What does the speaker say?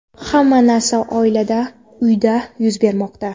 Hamma narsa oilada, uyda yuz bermoqda.